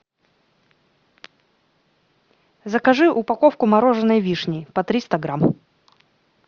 закажи упаковку мороженой вишни по триста грамм